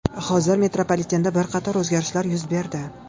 Hozir metropolitenda bir qator o‘zgarishlar yuz berdi.